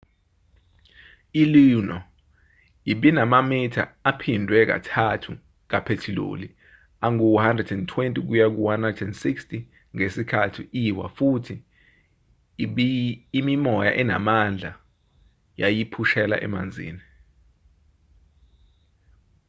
i-luno ibinamamitha aphindwe kathathu kaphethiloli angu-120-160 ngesikhathi iwa futhi imimoya enamandla yayiphushela emanzini